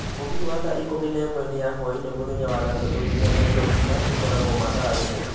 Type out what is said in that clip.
mũgithi wa thaa ikũmi na ĩmwe nĩ ya hwaĩinĩ mũthenya wa gatatũ nginya Nairobi na ĩkoragwo mathaa rĩmwe